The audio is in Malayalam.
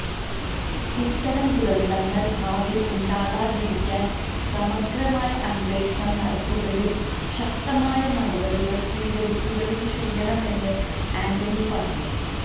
ഇത്തരം ദുരന്തങ്ങള് ഭാവിയില് ഉണ്ടാകാതിരിക്കാന് സമഗ്രമായ അന്വേഷണം നടത്തുകയും ശക്തമായ നടപടികള് സ്വീകരിക്കുകയും ചെയ്യണമെന്നും ആന്റണി പറഞ്ഞു